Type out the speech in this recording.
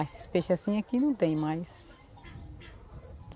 Esses peixes assim aqui não tem mais.